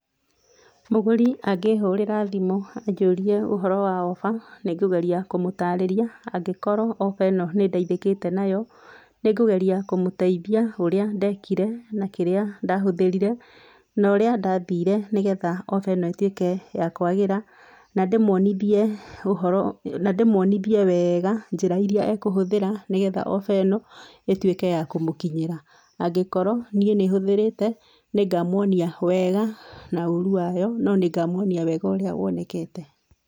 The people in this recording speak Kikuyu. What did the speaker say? Mũgũrĩ agĩhũrĩra thĩmũ anjũrĩe ũhũro wa ofa nĩngũgerĩa kũmũtarĩrĩa angĩkorwo ofa ĩno nĩndeĩthekĩte nayo nĩngũgerĩa kũmũteĩthĩa ũrĩa ndekĩre na kĩrĩa ndahũthĩrĩre na ũrĩa ndathĩre nĩ getha ofa ĩno ĩtũĩeke ya kwagĩra na ndĩmũonĩthĩe ũhũro, na ndĩmũonĩthĩe wega ũrĩa njĩra ĩrĩa e kũhũthĩra nĩ getha ofa ĩno ĩtũeke ya kũmũkĩnyĩra, angĩkorwo nĩĩ nĩhũthĩrĩte nĩngamũonĩa wega na ũũrũ wayo no nĩ ngamũonĩa wega ũrĩa wonekete.